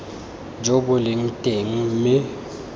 jo bo leng teng mme